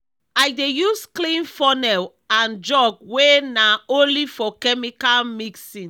i dey use clean funnel and jug wey na only for chemical mixing.